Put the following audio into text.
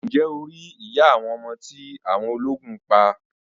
Ǹjẹ́ o rí iya ọmọ tí awọn ọlógún pa?